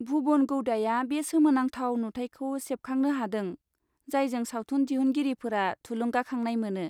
भुबन गौदाया बे सोमोनांथाव नुथायखौ सेबखांनो हादों जायजों सावथुन दिहुनगिरिफोरा थुलुंगाखांनाय मोनो।